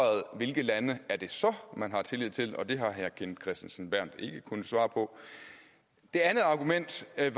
hvilke lande er det så man har tillid til det har herre kenneth kristensen berth ikke kunnet svare på det andet argument er at